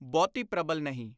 ਬਹੁਤੀ ਪ੍ਰਬਲ ਨਹੀਂ।